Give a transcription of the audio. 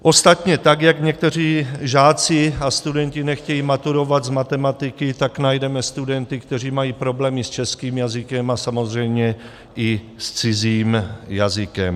Ostatně tak jak někteří žáci a studenti nechtějí maturovat z matematiky, tak najdeme studenty, kteří mají problémy s českým jazykem a samozřejmě i s cizím jazykem.